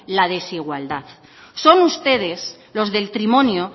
la desigualdad son ustedes los del trimonio